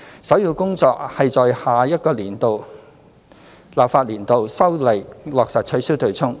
首要工作是在下一個立法年度修例落實取消"對沖"。